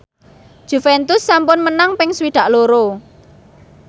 Juventus sampun menang ping swidak loro